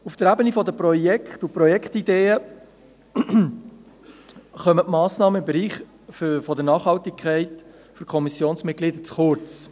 Auf der Ebene der Projekte und Projektideen kommen Massnahmen im Bereich der Nachhaltigkeit aus Sicht der Kommissionsmitglieder zu kurz.